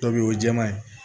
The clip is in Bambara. Dɔ be ye o ye jɛman ye